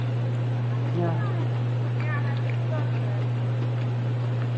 ਨਿਆਣਿਆਂ ਨੂੰ ਨਹੀ ਨਿਆਣਿਆਂ ਨੂੰ ਨੀ ਕਿਹੇ ਗੱਲ ਤੋਂ ਰਹਿਣ ਦਿੰਦਾ ਰਿਹਾ